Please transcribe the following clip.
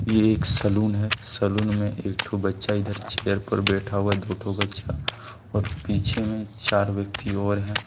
ये एक सैलून है सैलून में एक ठो बच्चा इधर चेयर पर बैठा हुआ दो ठो बच्चा और पीछे में चार व्यक्ति और हैं।